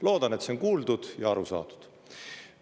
Loodan, et see on kuuldud ja aru saadud.